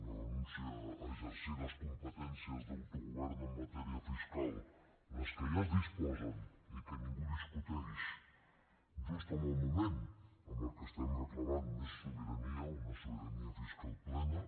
una renúncia a exercir les competències d’autogovern en matèria fiscal les que ja es disposen i que ningú discuteix just en el moment en el que estem reclamant més sobirania una sobirania fiscal plena